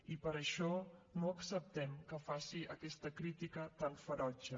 i per això no acceptem que faci aquesta crítica tan ferotge